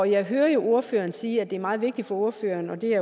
jeg hører jo ordføreren sige at det er meget vigtigt for ordføreren og det er